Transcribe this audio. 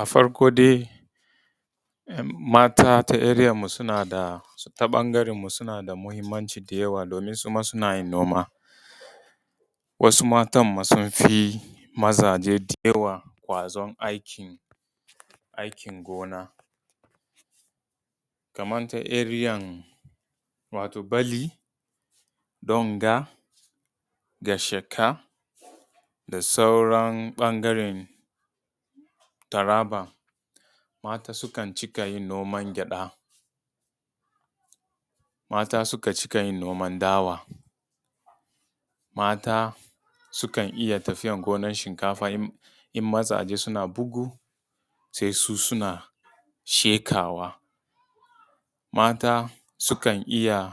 A farko dai mata ta area mu ta ɓangaren mu suna da muhimmanci da yawa domin suma suna yin noma. Wasu matan ma sun fi mazajen da yawa ƙwazon aikin gona. Kaman ta area Balli, Tunga, gashaka da sauran ɓangaren taraba, mata sukan cika yin noman gyada, mata suka cika yin noman dawa, mata su kan iya tafiya gonan shinkafa in mazaje suna bugu sai su suna sheƙawa. Mata sukan iya